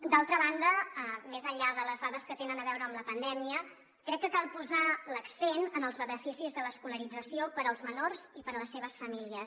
d’altra banda més enllà de les dades que tenen a veure amb la pandèmia crec que cal posar l’accent en els beneficis de l’escolarització per als menors i per a les seves famílies